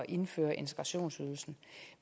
indføre integrationsydelsen